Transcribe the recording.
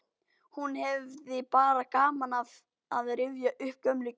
Hún hefði bara gaman af að rifja upp gömul kynni.